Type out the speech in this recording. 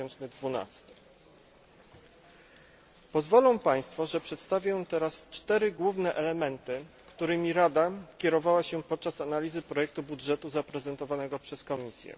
2012. Pozwolą Państwo, że przedstawię teraz cztery główne elementy, którymi Rada kierowała się podczas analizy projektu budżetu zaprezentowanego przez Komisję.